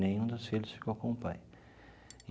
Nenhum dos filhos ficou com o pai.